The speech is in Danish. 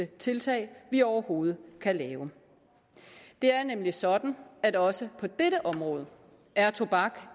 tiltag vi overhovedet kan lave det er nemlig sådan at også på dette område er tobak